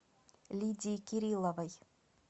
лидии кириловой